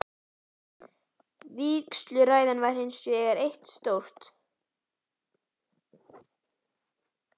Vígsluræðan var hinsvegar eitt stórt?